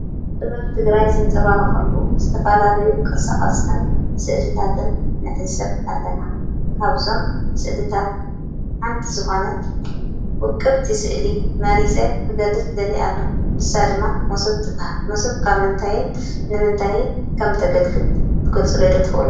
ጥበብ ትግራይ ዝንፀባረቀሉ ዝተፈላለዩ ቅርፃ ቅርፅን ስእልታትን ንዕዘብ ኣለና። ካብዞም ስእልታት ሓንቲ ዝኾነት ውቅብቲ ስእሊ መሪፀ ክገልጽ ደሊየ ኣለኹ። ንሳ ድማ መሶብ ትበሃል:: መሶብ ካብ ምንታይን ንምንታይን ከምተገልግል ትገልፁለይ ዶ ትኽእሉ ?